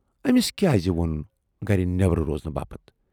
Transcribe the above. ٲمِس کیازِ وونُن گرِ نٮ۪بر روزنہٕ باپتھ۔